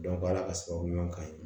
ala ka sababu ɲuman kan ye